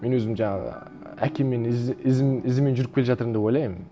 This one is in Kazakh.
мен өзім жаңағы әкеммен ізімен жүріп келе жатырмын деп ойлаймын